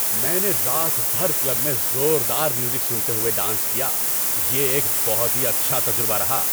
میں نے رات بھر کلب میں زوردار میوزک سنتے ہوئے ڈانس کیا۔ یہ ایک بہت ہی اچھا تجربہ رہا۔